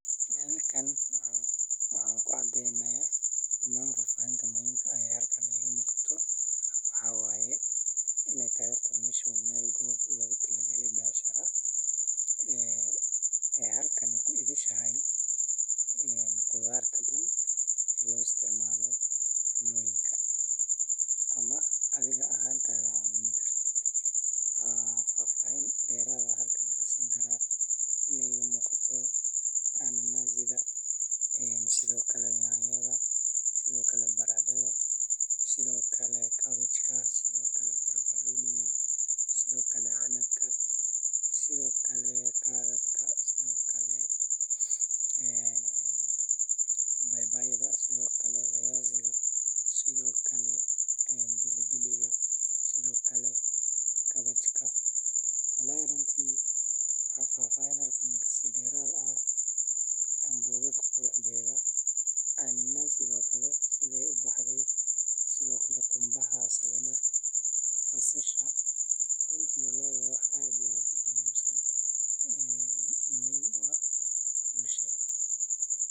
Miraha iyo khudaartu waa qayb muhiim ah oo ka mid ah cunnooyinka laga helo suuqyada, kuwaas oo ka buuxa nafaqooyin u wanaagsan jirka bini’aadamka. Suuqyada magaalooyinka iyo tuulooyinka waxaa laga helaa noocyo badan oo miro ah sida tufaaxa, muuska, babaayga, cambe, liin iyo miro kale, iyo sidoo kale khudaar kala duwan sida yaanyo, basal, karootada, barandhada iyo kookaha. Cuntooyinkan cagaaran waxay hodan ku yihiin fiitamiino.